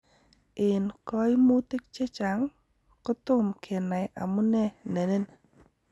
En koimutik chechang', kotom kenai amune nenin.